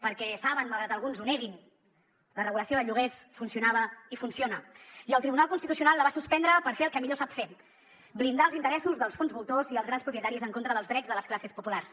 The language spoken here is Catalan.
perquè saben malgrat que alguns ho neguin la regulació de lloguers funcionava i funciona i el tribunal constitucional la va suspendre per fer el que millor sap fer blindar els interessos dels fons voltors i els grans propietaris en contra dels drets de les classes populars